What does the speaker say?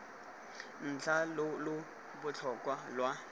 ntlha lo lo botlhokwa lwa